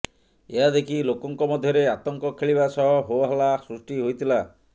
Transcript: ଏହା ଦେଖି ଲୋକଙ୍କ ମଧ୍ୟରେ ଆତଙ୍କ ଖେଳିବା ସହ ହୋ ହାଲ୍ଲା ସୃଷ୍ଟି ହୋଇଥିଲା